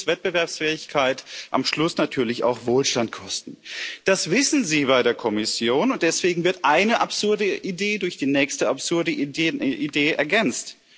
Das wird uns Wettbewerbsfähigkeit, am Schluss natürlich auch Wohlstand, kosten. Das wissen Sie bei der Kommission, und deswegen wird eine absurde Idee durch die nächste absurde Idee ergänzt.